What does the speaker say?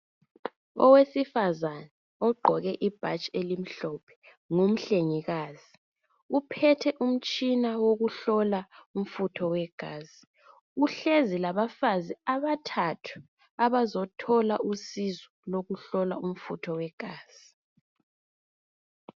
Owesifazana ogqoke ibhatshi elimhlophe ngumhlengikazi uphethe umtshina wokuhlola umfutho wegazi, uhlezi labafazi abathathu abazothola usizo lokuhlolwa umfutho wegazi.